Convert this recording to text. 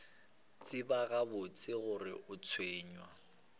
tseba gabotse gore o tshwenywa